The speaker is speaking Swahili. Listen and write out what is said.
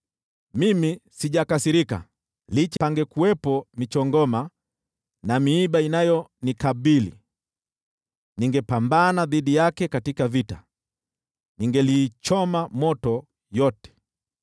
Mimi sijakasirika. Licha pangekuwepo michongoma na miiba kunikabili! Ningepambana dhidi yake katika vita, ningeliichoma moto yote.